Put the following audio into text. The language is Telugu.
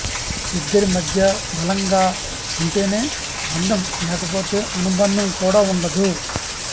ఇద్దరి మధ్యా బలంగా ఉంటేనే బంధం లేకపోతే అనుబంధం కూడా ఉండదు